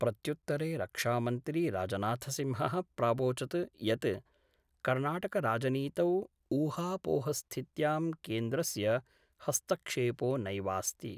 प्रत्युत्तरे रक्षामन्त्री राजनाथसिंह: प्रावोचत् यत् कर्णाटकराजनीतौ ऊहापोहस्थित्यां केन्द्रस्य हस्तक्षेपो नैवास्ति।